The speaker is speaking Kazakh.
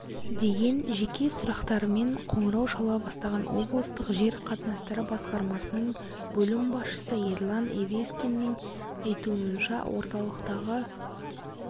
деген жеке сұрақтарымен қоңырау шала бастаған облыстық жер қатынастары басқармасының бөлім басшысы ерлан евескиннің айтуынша орталықтағы